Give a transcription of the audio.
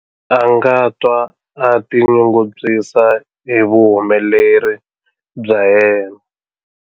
A nga twa a tinyungubyisa hi vuhumeleri bya yena.